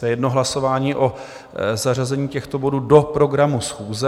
To je jedno hlasování o zařazení těchto bodů do programu schůze.